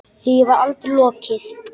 Því var aldrei lokið.